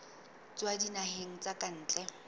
tswa dinaheng tsa ka ntle